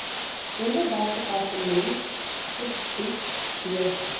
onderwysdepartement bied beurse